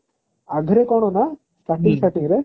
ୟାଦେହେରେ କଣ ନା starting starting ରେ